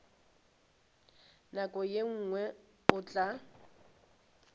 nako ye nngwe o tla